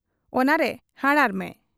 ᱚᱱᱟᱨᱮ ᱦᱟᱨᱟᱲ ᱢᱮ ᱾